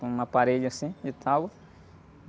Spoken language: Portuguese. Com uma parede, assim, de tábua.